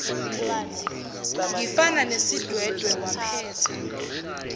ngifana nesidwedwe waphetha